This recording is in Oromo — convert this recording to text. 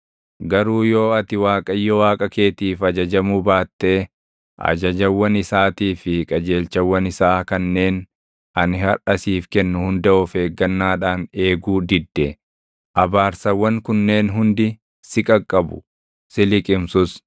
Garuu yoo ati Waaqayyo Waaqa keetiif ajajamuu baattee ajajawwan isaatii fi qajeelchawwan isaa kanneen ani harʼa siif kennu hunda of eeggannaadhaan eeguu didde, abaarsawwan kunneen hundi si qaqqabu; si liqimsus: